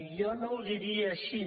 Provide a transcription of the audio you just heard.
jo no ho diria així